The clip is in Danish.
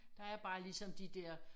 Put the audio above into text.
Der er bare ligesom de dér